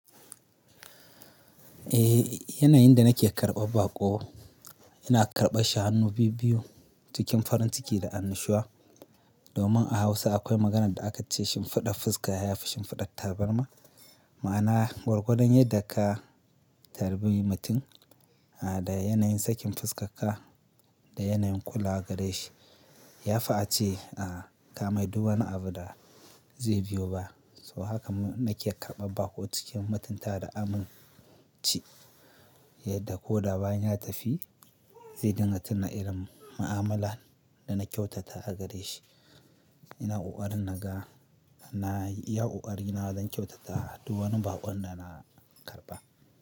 Eh, yanayin da nake karɓar baƙo, ina karɓa shi hannu biyu-biyu, cikin farin ciki da annushuwa. Domin a Hausa akwai maganan da aka ce shinfiɗar fuska ya fi shinfidar tabarma. Ma'ana gwargwadon yadda ka tarbi mutum, da yanayin sakin fuskarka, da yanayin kula gare shi, ya fi ace, a, ka mai du wani abu da zai biyo ba. So haka nake karɓar baƙo cikin mutunta da aminci, yadda ko da bayan ya tafi, zai dinga tuna irin ma'amala da na kyautata a gare shi. Ina ƙoƙarin naga, na iya ƙoƙari na don kyautata du wani baƙon da na karɓa.